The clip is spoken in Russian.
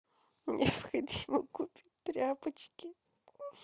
необходимо купить тряпочки